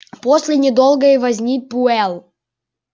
после недолгой возни пауэлл